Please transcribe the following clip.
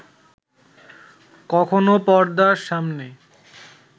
কখনো পর্দার সামনে